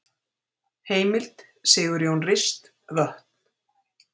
Heimild: Sigurjón Rist, Vötn.